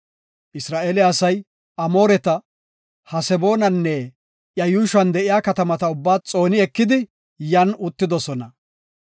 Isra7eele asay Amooreta, Haseboonanne iya yuushuwan de7iya katamata ubbaa xooni ekidi yan uttidosona.